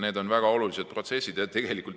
Need on väga olulised protsessid.